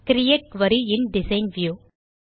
create query in design view